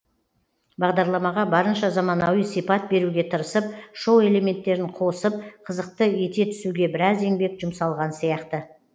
бағдарламаға барынша заманауи сипат беруге тырысып шоу элементтерін қосып қызықты ете түсуге біраз еңбек жұмсалған сияқты